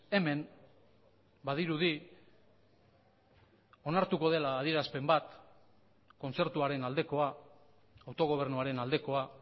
hemen badirudi onartuko dela adierazpen bat kontzertuaren aldekoa autogobernuaren aldekoa